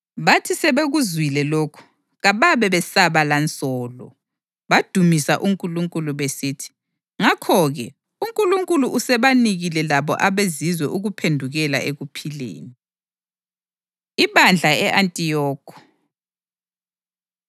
Bathi sebekuzwile lokhu, kababe besaba lansolo, badumisa uNkulunkulu besithi, “Ngakho-ke, uNkulunkulu usebanikile labo abeZizwe ukuphendukela ekuphileni.” Ibandla E-Antiyokhi